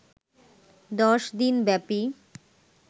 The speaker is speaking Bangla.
১০ দিনব্যাপী